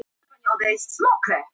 Var eitthvað bilað?